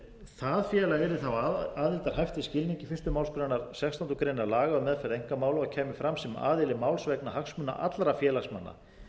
það félag yrði þá aðildarhæft í skilningi fyrstu málsgrein sextánda laga um meðferð einkamála kæmi fram sem aðili máls vegna hagsmuna allra félagsmanna